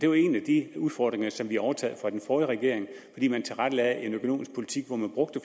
jo en af de udfordringer som vi har overtaget fra den forrige regering fordi man tilrettelagde en økonomisk politik hvor man brugte